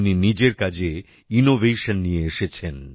উনি নিজের কাজে ইনোভেশন নিয়ে এসেছেন